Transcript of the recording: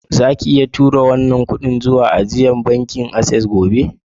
Zaka iya tura wannan kudi zuwa ajia na da bankin access gobe?